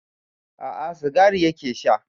A'a sigari yake sha